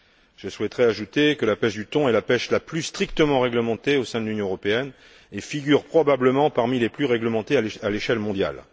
Je souhaiterais ajouter que la pêche du thon est la pêche la plus strictement réglementée au sein de l'Union européenne et figure probablement parmi les plus réglementées à l'échelle mondiale.